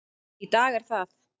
Í dag er það